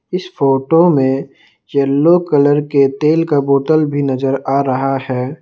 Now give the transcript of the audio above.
इस फोटो में yellow colour के तेल का बॉटल भी नजर आ रहा है।